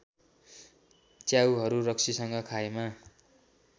च्याउहरू रक्सीसँग खाएमा